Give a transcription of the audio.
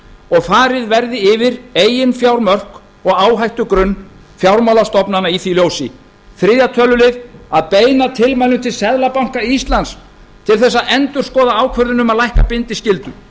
og farið verði yfir eigin fjármörk og áhættugrunn fjármálastofnana í því ljósi í þriðja tölulið að beina tilmælum til seðlabanka íslands til þess að endurskoða ákvörðun um að lækka bindiskyldu